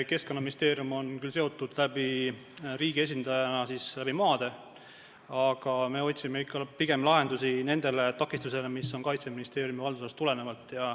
Keskkonnaministeerium on riigi esindajana seotud selle teemaga maade kaudu, aga me otsime ikka pigem lahendusi nendele takistustele, mis on Kaitseministeeriumi haldusalast tulenenud.